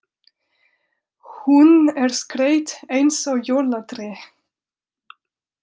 Hún er skreytt eins og jólatré.